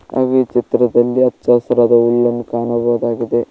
ಹಾಗು ಈ ಚಿತ್ರದಲ್ಲಿ ಹಚ್ಚ ಹಸಿರಾದ ಹುಲ್ಲನ್ನು ಕಾಣಬಹುದಾಗಿದೆ.